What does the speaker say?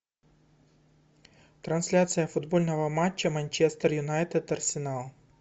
трансляция футбольного матча манчестер юнайтед арсенал